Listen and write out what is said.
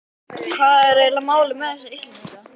Hvað er eiginlega málið með þessa Íslendinga?